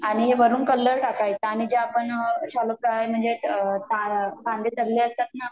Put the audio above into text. आणि वरुन कलर टाकायचा आणि जे आपण शालो फ्राय म्हणजे कांदे तळले असतात ना